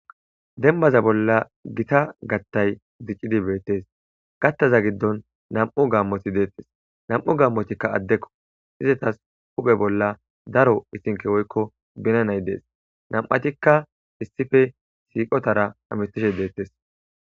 Denbaza bolla gita gattay ziccidi beettes gattaza giddon nam'u gammoti deettes nam'u gammotikka addekko izatas uphe bolla daro isinke woykko binanay dees nam'atikka issife siiqotara amistishe deettes